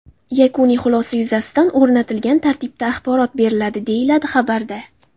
Yakuniy xulosa yuzasidan o‘rnatilgan tartibda axborot beriladi”, deyiladi xabarda.